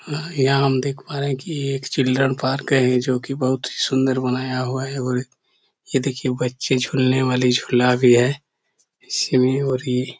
हाँ यहाँ हम देख पा रहे है की यह एक चिल्ड्रेन पार्क है जोकि बहुत सुन्दर बनाया हुआ है और यह देखिए बच्चें झूलने वाला झुला भी है इस में और ये-- .